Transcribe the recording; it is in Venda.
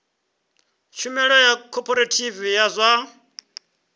tshumelo ya khophorethivi ya zwa